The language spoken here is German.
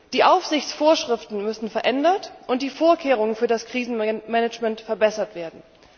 Die Aufsichtsvorschriften müssen verändert und die Vorkehrungen für das Krisenmanagement verbessert werden.